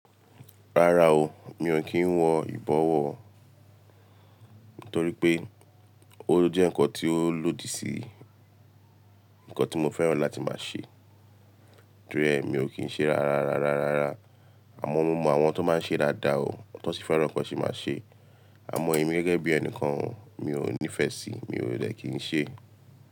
Rárá o, mi ò kí ń wọ ìbọwọ́, torí pé ó jẹ́ nǹkan tí ó lòdì sí ǹnkan tí mo fẹ́ràn láti máa ṣe. Tori e, mi ò kí ń ṣe rárá, rárá, rárá. Àmọ́ mo mọ àwọn tó máa ń ṣe dáadáa o, tó n sì fẹ́ràn kan ṣi máa ṣe. Àmọ́ èmi gẹ́gẹ́ bí ẹnìkan o, mi ò nífẹ̀ẹ́ síi, mi ò de kì í ṣe.